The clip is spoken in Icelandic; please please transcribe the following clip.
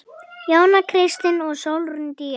Jóna Kristín og Sólrún Día.